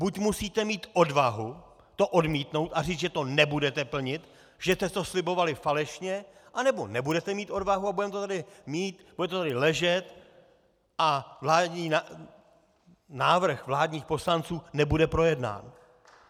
Buď musíte mít odvahu to odmítnout a říct, že to nebudete plnit, že jste to slibovali falešně, anebo nebudete mít odvahu a budeme to tady mít, bude to tady ležet a návrh vládních poslanců nebude projednán.